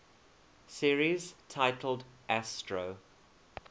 series titled astro